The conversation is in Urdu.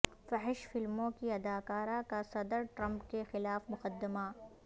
فحش فلموں کی اداکارہ کا صدر ٹرمپ کے خلاف مقدمہ